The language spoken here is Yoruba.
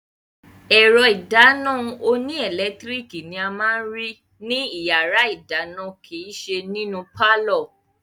Ẹ̀rọ ìdáná oníẹlẹtíríkì ni a máa ní rí ní yàrá-ìdáná kìíse nínú pálọ̀